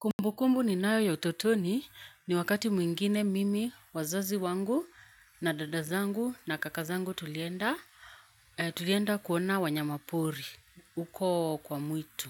Kumbu kumbu ninayo ya utotoni ni wakati mwingine mimi wazazi wangu na dada zangu na kaka zangu tulienda kuona wanyama pori uko kwa mwitu.